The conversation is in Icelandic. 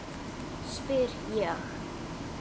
spyr ég.